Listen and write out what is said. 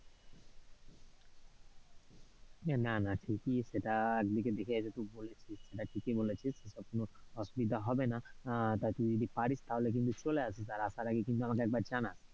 উহ না না ঠিকই সেটা একদিকে দেখে তুই এটা বলেছিস, এটা ঠিকই বলেছিস কখনো এটা অসুবিধা হবে না উহ টা তুই যদি পারিস তাহলে কিন্তু চলে আসবি, তবে তুই আসার আগে কিন্তু আমাকে জানাস।